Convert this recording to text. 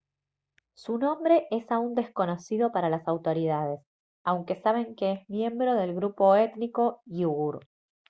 su nombre es aún desconocido para las autoridades aunque saben que es miembro del grupo étnico iugur